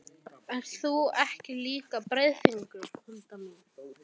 Ert þú ekki líka Breiðfirðingur, Hulda mín?